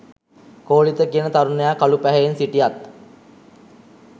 කෝලිත කියන තරුණයා කළු පැහැයෙන් සිටියත්